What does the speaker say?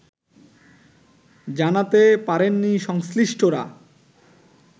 জানাতে পারেননি সংশ্লিষ্টরা